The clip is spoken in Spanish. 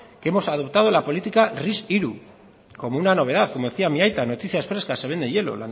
que hemos adoptado la política ris tres como una novedad como decía mi aita noticias frescas se vende hielo